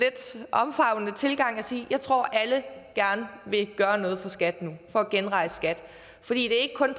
omfavnende tilgang og sige at jeg tror at alle gerne vil gøre noget for skat nu for at genrejse skat det er ikke kun